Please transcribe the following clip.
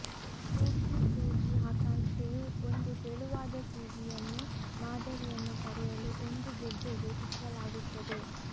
ಸೂಕ್ಷ್ಮ ಸೂಜಿ ಆಕಾಂಕ್ಷೆಯು ಒಂದು ತೆಳುವಾದ ಸೂಜಿಯನ್ನು ಮಾದರಿಯನ್ನು ಪಡೆಯಲು ಒಂದು ಗೆಡ್ಡೆಗೆ ಚುಚ್ಚಲಾಗುತ್ತದೆ